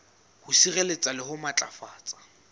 ho sireletsa le ho matlafatsa